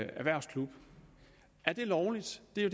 erhvervsklub er det lovligt det er